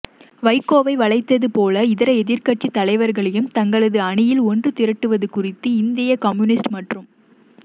வைகோவை வளைத்தது போல இதர எதிர்க்கட்சித் தலைவர்களையும் தங்களது அணியில் ஒன்றுதிரட்டுவது குறித்து இந்திய கம்யூனிஸ்ட் மற்றும்